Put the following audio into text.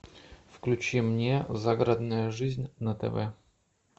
включи мне загородная жизнь на тв